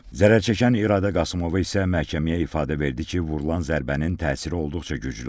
Zərər çəkən İradə Qasımova isə məhkəməyə ifadə verdi ki, vurulan zərbənin təsiri olduqca güclü olub.